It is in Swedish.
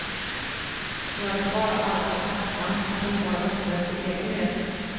Jag är bara alltför tacksam att inte ha rösträtt för egen del.